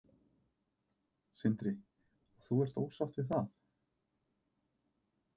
Sindri: Og þú ert ósátt við það?